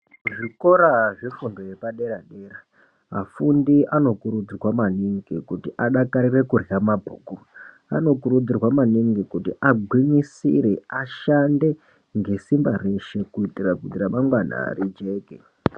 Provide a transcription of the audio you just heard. Zvikora zvefundo yepadera dera, vafundi anokurudzirwa maningi kuti adakarire kurya mabhuku. Anokurudzirwa maningi kuti agwinyisire, ashande ngesimba reshe kuitira kuti ramangwana rijeke.